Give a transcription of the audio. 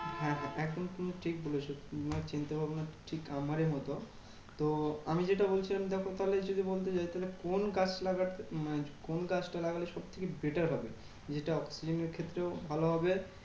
হ্যাঁ হ্যাঁ একদম তুমি ঠিক বলেছো। তোমার চিন্তাভাবনা ঠিক আমারই মতন। তো আমি যেটা বলছিলাম দেখো তাহলে যদি বলতে যাই, তাহলে কোন গাছ লাগাতে মানে কোন গাছটা লাগালে সব থেকে better হবে? যেটা oxygen এর ক্ষেত্রেও ভালো হবে